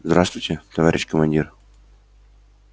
здравствуйте товарищ командир